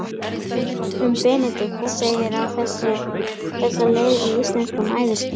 Um Benedikt segir á þessa leið í Íslenskum æviskrám